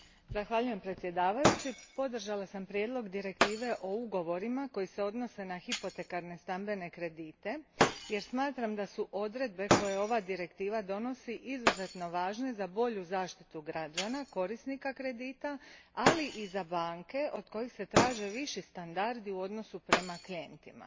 Gospodine predsjedavajući, podržala sam prijedlog direktive o ugovorima koji se odnose na hipotekarne stambene kredite jer smatram da su odredbe koje ova Direktiva donosi izuzetno važne za bolju zaštitu građana, korisnika kredita, ali i za banke, od kojih se traže viši standardi u odnosu prema klijentima.